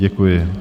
Děkuji.